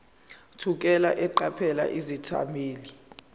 thukela eqaphela izethameli